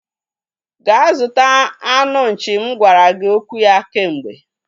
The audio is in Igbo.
Gaa zụta anụ nchi m gwara gị okwu ya kemgbe